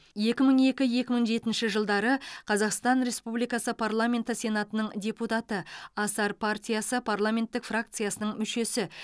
екі мың екі екі мың жетінші жылдары қазақстан республикасы парламенті сенатының депутаты асар партиясы парламенттік фракциясының мүшесі